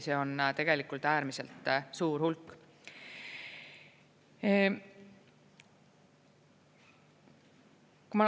See on tegelikult äärmiselt suur hulk.